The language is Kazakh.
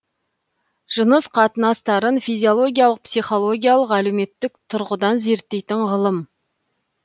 жыныс қатынастарын физиологиялық психологиялық әлеуметтік тұрғыдан зерттейтін ғылым